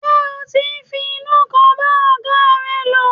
Ṣé o ti ń fi inú kan bá ọ̀gáa rẹ lò.